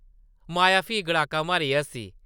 माया फ्ही गड़ाका मारियै हस्सी ।